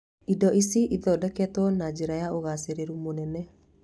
Indo ici ithondekagwo na njĩra ya ũgaacĩru mũnene